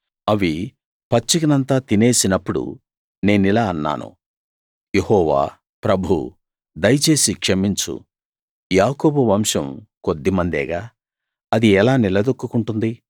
అవి పచ్చికనంతా తినేసినప్పుడు నేనిలా అన్నాను యెహోవా ప్రభూ దయచేసి క్షమించు యాకోబు వంశం కొద్దిమందేగా అది ఎలా నిలదొక్కుకుంటుంది